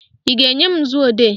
Ị ga-enye m nzuodee?